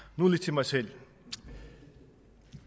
mig selv